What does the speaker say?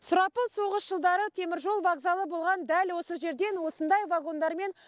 сұрапыл соғыс жылдары теміржол вокзалы болған дәл осы жерден осындай вагондармен